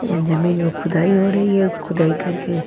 यहाँ जमीन में खुदाई हो रही है खुदाई करके --